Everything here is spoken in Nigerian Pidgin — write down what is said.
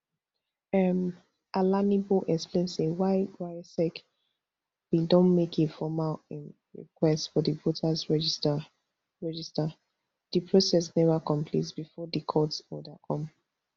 um alalibo explain say while rsiec bin don make a formal um request for di voters register register di process neva complete bifor di court order come